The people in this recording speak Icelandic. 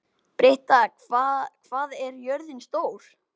Britta, hvað er jörðin stór?